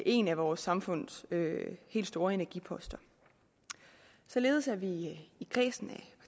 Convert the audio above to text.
en af vores samfunds helt store energiposter således er vi i kredsen af